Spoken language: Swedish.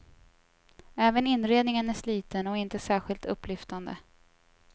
Även inredningen är sliten och inte särskilt upplyftande.